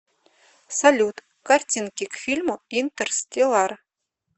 салют картинки к фильму интерстеллар